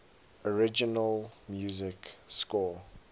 original music score